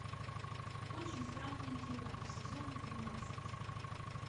очень странные дела сезон двенадцать